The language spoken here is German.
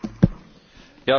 Herr Präsident!